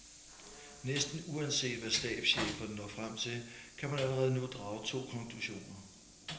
Næsten uanset hvad stabscheferne når frem til, kan man allerede nu drage to konklusioner.